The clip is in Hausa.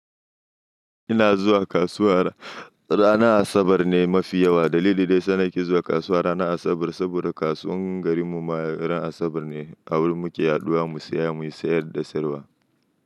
Ina zuwa kasuwa ranar Asabar ne mafi yawa. Dalili dai sanaki zuwa kasuwa ranar Asabar saboda kasuwar garin mu ran Asabar ne a wurin muke yaɗuwa mu saya mu sayar da sayarwa.